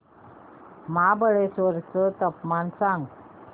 महाबळेश्वर चं तापमान सांग